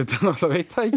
veit það ekki